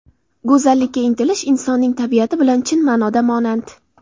Go‘zallikka intilish insonning tabiati bilan chin ma’noda monand.